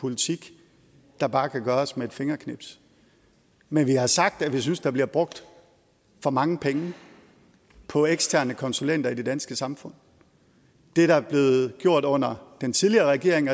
politik der bare kan gøres med et fingerknips men vi har sagt at vi synes der bliver brugt for mange penge på eksterne konsulenter i det danske samfund det er blevet gjort under den tidligere regering